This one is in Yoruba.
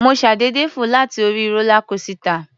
Mo ṣàdédé fò láti orí rólá kósità.